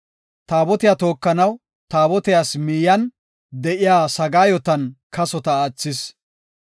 Taabotiya tookanaw, Taabotiyas miyiyan de7iya sagaayotan kasota aathis.